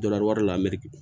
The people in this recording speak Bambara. Dɔ la wari la meri